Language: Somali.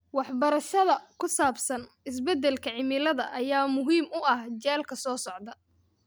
Waxbarashada ku saabsan isbeddelka cimilada ayaa muhiim u ah jiilka soo socda.